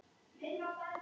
Hann tvísté.